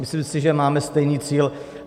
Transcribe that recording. Myslím si, že máme stejný cíl.